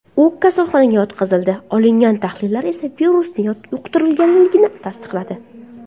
U kasalxonaga yotqizildi, olingan tahlillar esa virusni yuqtirganlikni tasdiqladi.